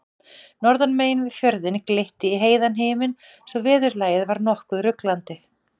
Norðan megin við fjörðinn glitti í heiðan himin svo veðurlagið var nokkuð ruglandi.